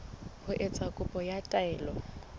ho etsa kopo ya taelo